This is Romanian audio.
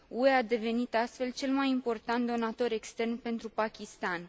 UE a devenit astfel cel mai important donator extern pentru Pakistan.